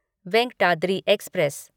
Venkatadri express